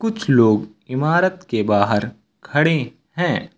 कुछ लोग इमारत के बाहर खड़े है।